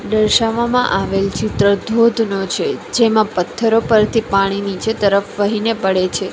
દર્શાવવમાં આવેલ ચિત્ર ધોધનો છે જેમાં પથ્થરો પરથી પાણી નીચે તરફ વહીને પડે છે.